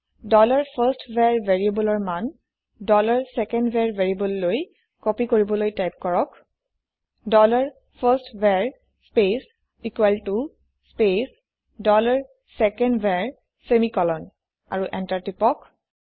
dollar first var variableৰ মান dollar second var ভেৰিয়েবোললৈ কপি কৰিবলৈ টাইপ কৰক ডলাৰ ফাৰ্ষ্টভাৰ স্পেচ ইকোৱেল ত স্পেচ ডলাৰ চেকেণ্ডভাৰ ছেমিকলন আৰু এন্টাৰ প্ৰেছ কৰক